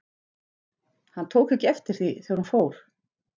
Hann tók ekki eftir því, þegar hún fór.